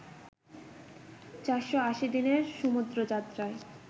৪৮০ দিনের সমুদ্র যাত্রায়